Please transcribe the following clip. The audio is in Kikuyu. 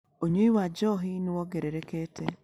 ũnyui wa njohi nĩ wongererekete.